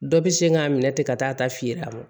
Dɔ bɛ sin k'a minɛ ten ka taa fiyer'a mɔ